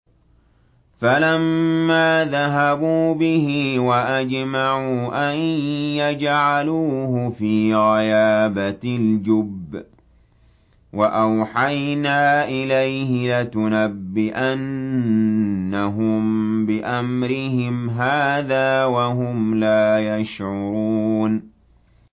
فَلَمَّا ذَهَبُوا بِهِ وَأَجْمَعُوا أَن يَجْعَلُوهُ فِي غَيَابَتِ الْجُبِّ ۚ وَأَوْحَيْنَا إِلَيْهِ لَتُنَبِّئَنَّهُم بِأَمْرِهِمْ هَٰذَا وَهُمْ لَا يَشْعُرُونَ